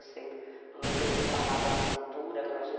A mãe sempre falava assim, dura com a gente.